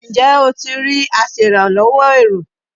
Ǹjẹ́ o ti rí aṣèràlọ́wọ́ èrò?